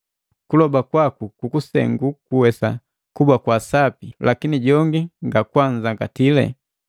Kuloba kwaku kukusengu kuwesa kuba kwa sapi, lakini jongi ngakwanzangati.